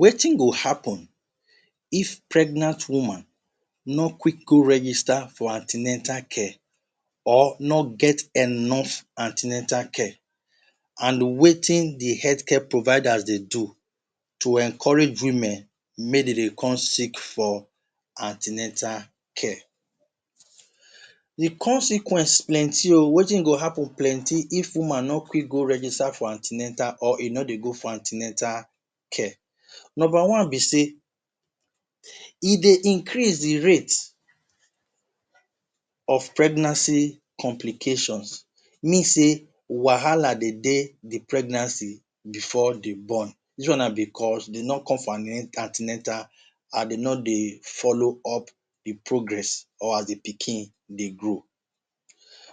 Wetin go happun if pregnant woman no quick go register for an ten atal care or no get enough an ten atal care and wetin di health care providers dey do to encourage women make dem dey go seek for an ten atal care. Di consequence plenty o wetin go happun plenty if woman no quick go register for an ten atal or e no dey go for an ten atal care. Number one be say e dey increase di rate of pregnancy complications mean say wahala dey dey di pregnancy bifor dem born dis one na bicos dem no come for an ten atal and dem no dey follow up di progress or as di pikin dey grow.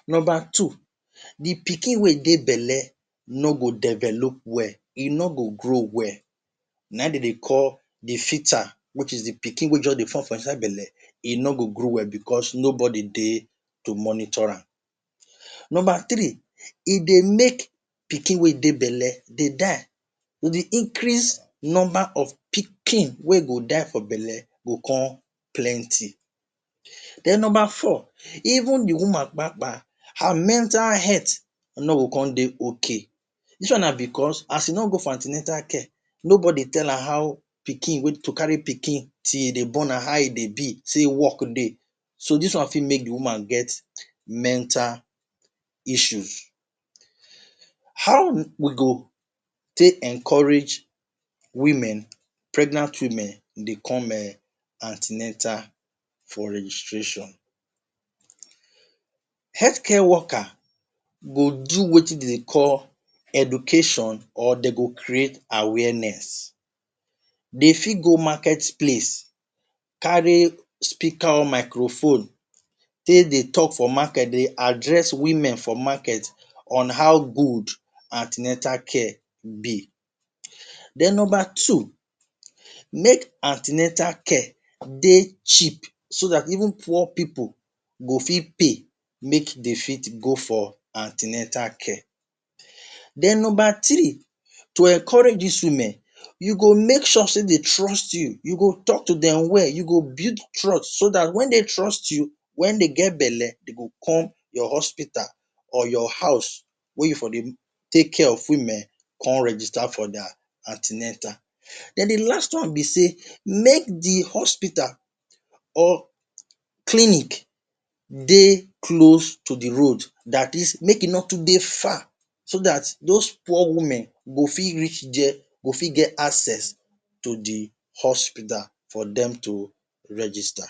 Number pikin wey dey belle no go develop well, e no go grow well, na im dem dey call di foeta which is di pikin wey just dey form for inside di belle, e no go grow well bicos no body dey dey monitor am. Number three, e dey make pikin wey dey belle dey die, e go dey increase Number of pikin wey go die for belle go come plenty. Den Number four, even di woman kpakpa her mental health no go come dey ok, dis one na bicos as you no go for an ten atal care, nobody tell am how to carry pikin till dey born am, how e dey be say work dey. So dis one fit make woman get mental issues. How we go take encourage women, pregnant women dey come an ten atal for registration. Health care worker go do wetin dem dey call education or dem go create awareness dem fit go market place carry speaker or microphone take dey tok for market dey address women for market on how good an ten atal care be. Den Number two, make an ten atal care dey cheap, so dat even poor pipo go fit pay make dem fit go for an ten atal care. Den Number three to encourage dis women you make sure say dem trust you tok to dem well, you go build trust so dat wen dey trust you wen dey get belle dem go come your hospital or your house wey you dey take care of women come register for dia an ten atal. Den di last one be say make di hospital or clinic dey close to di Road dat is make e no dey too far so dat dos poor women go fit reach dia, go fit get access to di hospital for dem to register.